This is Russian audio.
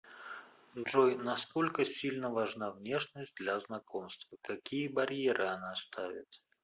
джой насколько сильно важна внешность для знакомства какие барьеры она ставит